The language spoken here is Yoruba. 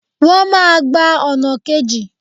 Wọ́n máa gba ọ̀nà kejì